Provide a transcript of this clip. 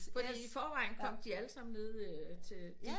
Fordi i forvejen kom de alle sammen nede til